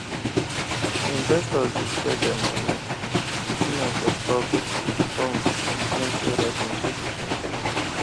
investors dey spread dem money putting am for stocks bonds and plenty other things wey fit shine